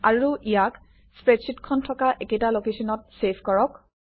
আৰু ইয়াক স্প্ৰেডশ্বিটখন থকা একেটা লোকেশ্যনতে চেভ কৰক